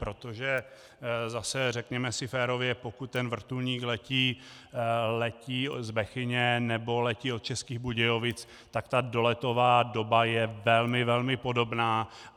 Protože zase, řekněme si férově, pokud ten vrtulník letí z Bechyně nebo letí od Českých Budějovic, tak ta doletová doba je velmi, velmi podobná.